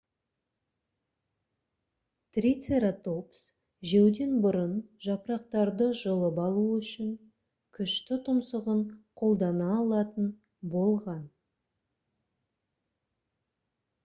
трицератопс жеуден бұрын жапырақтарды жұлып алу үшін күшті тұмсығын қолдана алатын болған